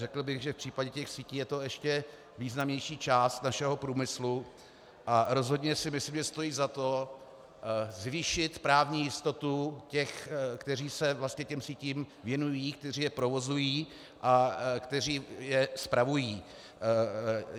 Řekl bych, že v případě těch sítí je to ještě významnější část našeho průmyslu, a rozhodně si myslím, že stojí za to zvýšit právní jistotu těch, kteří se vlastně těm sítím věnují, kteří je provozují a kteří je spravují.